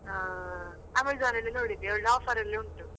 ಹಾ Amazon ಅಲ್ಲಿ ನೋಡಿದೆ ಒಳ್ಳೆ offer ಅಲ್ಲಿ ಉಂಟು